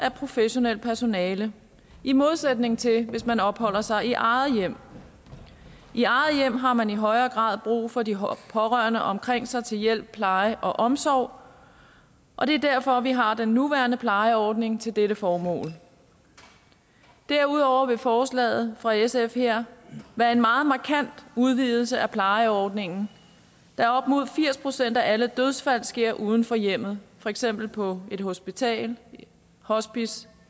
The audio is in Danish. af professionelt personale i modsætning til hvis man opholder sig i eget hjem i eget hjem har man i højere grad brug for de pårørende omkring sig til hjælp pleje og omsorg og det er derfor vi har den nuværende plejeordning til dette formål derudover vil forslaget fra sf her være en meget markant udvidelse af plejeordningen da op mod firs procent af alle dødsfald sker uden for hjemmet for eksempel på et hospital et hospice